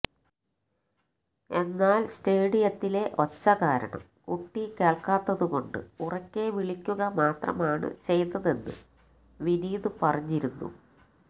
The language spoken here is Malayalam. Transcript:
എന്നാൽ സ്റ്റേഡിയത്തിലെ ഒച്ച കാരണം കുട്ടി കേൾക്കാത്തതുകൊണ്ട് ഉറക്കെ വിളിക്കുക മാത്രമാണ് ചെയ്തത് എന്ന് വിനീത് പറഞ്ഞിരുന്നു